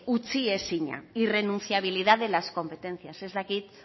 utziezina irrenunciabilidad de las competencias ez dakit